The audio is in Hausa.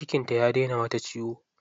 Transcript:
Cikin ta ya dai na mata ciwo.